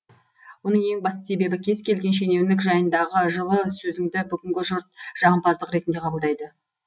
оның ең басты себебі кез келген шенеунік жайындағы жылы сөзіңді бүгінгі жұрт жағымпаздық ретінде қабылдайды